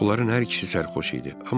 Onların hər ikisi sərxoş idi.